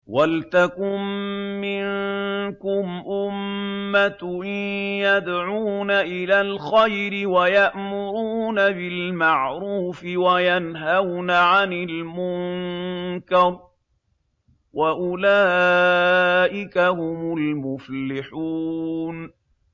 وَلْتَكُن مِّنكُمْ أُمَّةٌ يَدْعُونَ إِلَى الْخَيْرِ وَيَأْمُرُونَ بِالْمَعْرُوفِ وَيَنْهَوْنَ عَنِ الْمُنكَرِ ۚ وَأُولَٰئِكَ هُمُ الْمُفْلِحُونَ